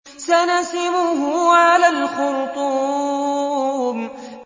سَنَسِمُهُ عَلَى الْخُرْطُومِ